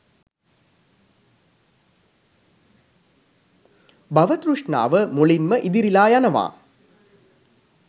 භව තෘෂ්ණාව මුලින්ම ඉදිරිලා යනවා